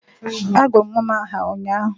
Agụrụ m nwa m aha ụnyaahụ